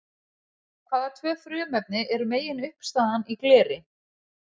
Hvaða tvö frumefni eru meginuppistaðan í gleri?